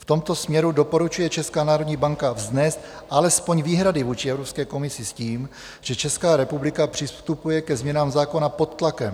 V tomto směru doporučuje Česká národní banka vznést alespoň výhrady vůči Evropské komisi s tím, že Česká republika přistupuje ke změnám zákona pod tlakem.